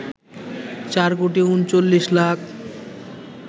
৪ কোটি ৩৯ লাখ